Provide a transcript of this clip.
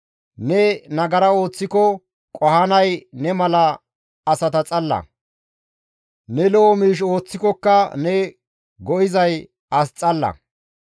Ne nagara ooththiko qohanay ne mala asata xalla. Ne lo7o miish ooththikoka ne go7izay as xalla.